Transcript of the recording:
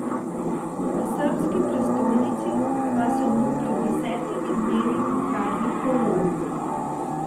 V srbski prestolnici pa so mu pred desetimi dnevi ukradli kolo.